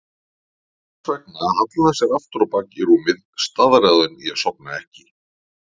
Þess vegna hallaði hann sér aftur á bak í rúmið, staðráðinn í að sofna ekki.